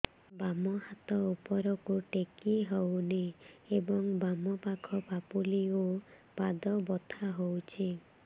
ବାମ ହାତ ଉପରକୁ ଟେକି ହଉନି ଏବଂ ବାମ ପାଖ ପାପୁଲି ଓ ପାଦ ବଥା ହଉଚି